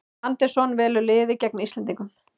Andersson velur liðið gegn Íslendingum